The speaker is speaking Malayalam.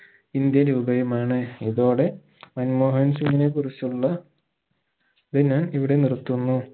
indian രൂപയുമാണ് ഇതോടെ മൻമോഹൻ സിംഗിനെ കുറിച്ചുള്ള ഇത് ഞാൻ ഇവിടെ നിർത്തുന്നു